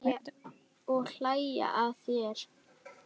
Og hlæja að þér.